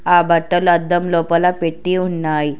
ఆ బట్టలు అద్దం లోపల పెట్టి ఉన్నాయి.